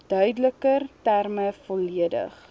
duideliker terme volledig